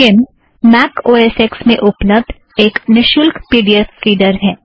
scheme Mac O S X में उपलब्द एक निशुल्क पी ड़ी ऐफ़ रीड़र है